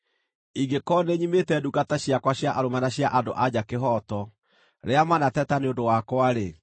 “Ingĩkorwo nĩnyimĩte ndungata ciakwa cia arũme na cia andũ-a-nja kĩhooto rĩrĩa manateta nĩ ũndũ wakwa-rĩ,